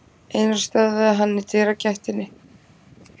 Einar stöðvaði hann í dyragættinni.